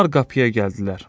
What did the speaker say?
Bunlar qapıya gəldilər.